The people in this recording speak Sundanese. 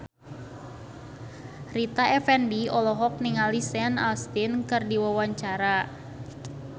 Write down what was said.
Rita Effendy olohok ningali Sean Astin keur diwawancara